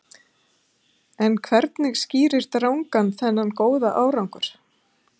En hvernig skýrir Dragan þennan góða árangur?